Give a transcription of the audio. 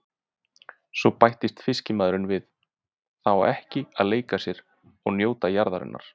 Svo bætti fiskimaðurinn við:- Það á að leika sér og njóta jarðarinnar.